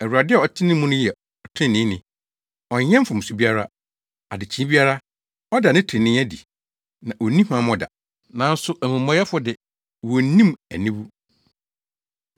Awurade a ɔte ne mu no yɛ ɔtreneeni; ɔnyɛ mfomso biara. Adekyee biara, ɔda ne trenee adi, na onni huammɔ da, nanso amumɔyɛfo de, wonnim aniwu.